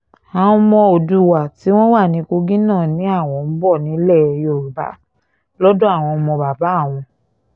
àwọn ọmọ oòdùà tí wọ́n wà ní kogi náà ni àwọn ń bọ̀ nílẹ̀ yorùbá lọ́dọ̀ àwọn ọmọ bàbá àwọn